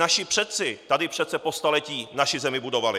Naši předci tady přece po staletí naši zemi budovali.